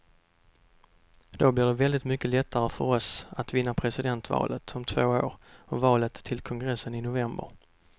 Då blir det väldigt mycket lättare för oss att vinna presidentvalet om två år och valet till kongressen i november.